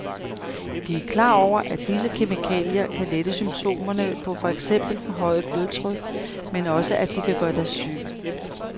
De er klar over, at disse kemikalier kan lette symptomerne på for eksempel forhøjet blodtryk, men også at de kan gøre dig syg.